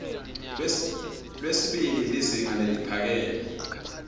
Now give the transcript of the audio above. lwesibili lizinga leliphakeme